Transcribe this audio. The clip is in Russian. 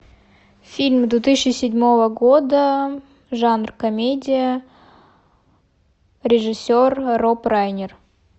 фильм две тысячи седьмого года жанр комедия режиссер роб райнер